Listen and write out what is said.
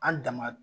An dama